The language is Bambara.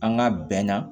An ka bɛnna